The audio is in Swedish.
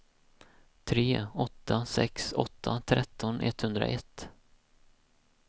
tre åtta sex åtta tretton etthundraett